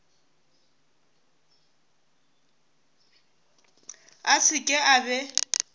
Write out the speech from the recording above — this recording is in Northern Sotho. a se ke a be